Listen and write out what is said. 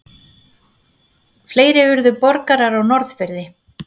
Fleiri urðu borgarar á Norðfirði.